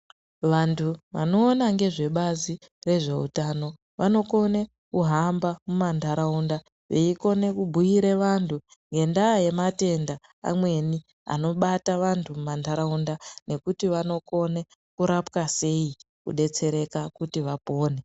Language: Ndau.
Vantu vanoona ngezvebazi rezveutano vanokone kuhamba mumantaraunda veikone kumbuira vantu ngendaa yematenda amweni anobata vantu mumantaraunda. Nekuti vanokona kurapwa sei kubetsereka kuti vapone.